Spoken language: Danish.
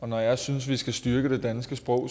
når jeg synes vi skal styrke det danske sprog